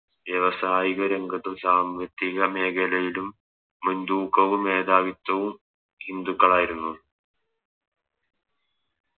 വ്യാവസായിക രംഗത്തും സാമ്പത്തിക മേഖലയിലും മുൻ തൂക്കവും മേധാവിത്തവും ഹിന്ദുക്കളായിരുന്നു